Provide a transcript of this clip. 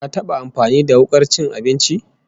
Ka taba amfani da wukar cin abinci?